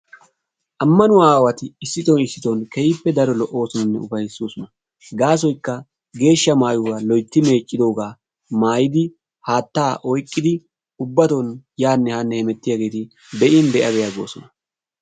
Ammanuwa issiton issiton keehippe daro lo"ossonanne upayssoosona gaasoykka geehsha maayyuwa loytti meeccidooga maayyidi haatta oyqqidi yaanne haane hemettiyaageeri be'in be'a be'a goosona.